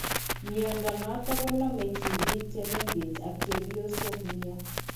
Mnyando noton ko name tibiik che meng'ech ak cheebyosok nia.